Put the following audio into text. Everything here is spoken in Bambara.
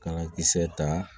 Kala kisɛ ta